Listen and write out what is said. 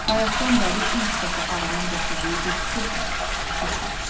Bayaqdan bəri ilk dəfə ağlına gətirdiyi bu fikirdən əti çiməşdi.